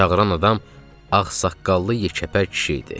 Çağıran adam ağsaqqallı, yekəpər kişi idi.